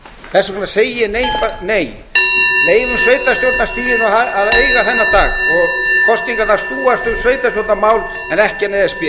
þess vegna segi ég nei leyfum sveitarstjórnarstiginu að eiga þennan dag og kosningarnar snúist um sveitarstjórnarmál en ekki e s b